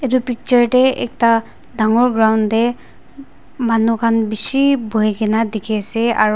etu picture te ekta dangor ground te manu khan bishi buhi kene dikhi ase aru--